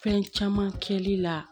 Fɛn caman kɛli la